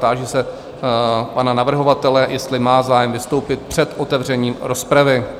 Táži se pana navrhovatele, jestli má zájem vystoupit před otevřením rozpravy?